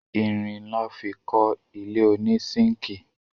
Irin lọ́ fi kọ́ ilé ònísínkìì